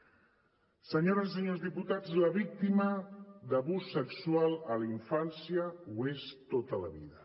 senyores i senyors diputats la víctima de l’abús sexual a la infància ho és tota la vida